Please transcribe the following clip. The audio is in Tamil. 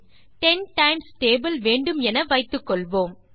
10 டைம்ஸ் டேபிள் வேண்டும் என வைத்துக்கொள்வோம்